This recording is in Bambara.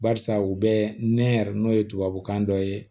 Barisa u bɛ nɛn yɛrɛ n'o ye tubabukan dɔ ye